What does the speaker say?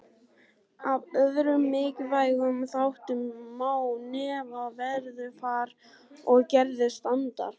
Af öðrum mikilvægum þáttum má nefna veðurfar og gerð strandar.